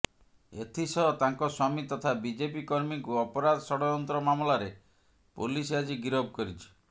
ଏଥିସହ ତାଙ୍କ ସ୍ୱାମୀ ତଥା ବିଜେପି କର୍ମୀଙ୍କୁ ଅପରାଧ ଷଡ଼ଯନ୍ତ୍ର ମାମଲାରେ ପୋଲିସ୍ ଆଜି ଗିରଫ କରିଛି